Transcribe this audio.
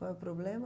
Qual é o problema?